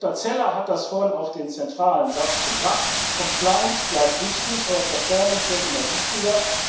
Herr Berichtserstatter Zeller hat das vorhin auf den zentralen Satz gebracht Compliance bleibt wichtig, aber Performance wird immer wichtiger.